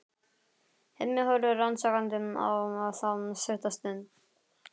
Hemmi horfir rannsakandi á þá stutta stund.